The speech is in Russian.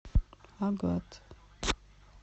агат